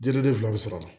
Dile fila bɛ sɔrɔ a la